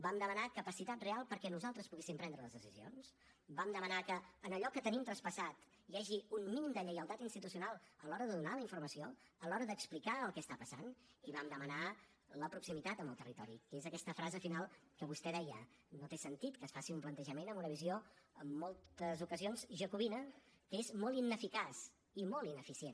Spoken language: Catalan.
vam demanar capacitat real perquè nosaltres poguéssim prendre les decisions vam demanar que en allò que tenim traspassat hi hagi un mínim de lleialtat institucional a l’hora de donar la informació a l’hora d’explicar el que està passant i vam demanar la proximitat amb el territori que és aquesta frase final que vostè deia no té sentit que es faci un plantejament amb una visió en moltes ocasions jacobina que és molt ineficaç i molt ineficient